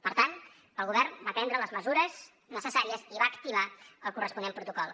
per tant el govern va prendre les mesures necessàries i va activar el corresponent protocol